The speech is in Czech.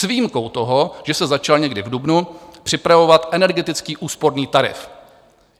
S výjimkou toho, že se začal někdy v dubnu připravovat energetický úsporný tarif.